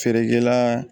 Feerekɛla